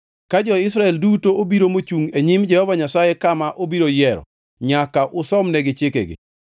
ka jo-Israel duto obiro mochungʼ e nyim Jehova Nyasaye kama obiro yiero, nyaka usomnegi chikegi.